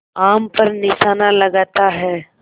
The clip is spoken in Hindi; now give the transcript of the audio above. आम पर निशाना लगाता है